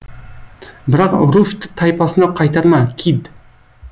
бірақ руфьті тайпасына қайтарма кид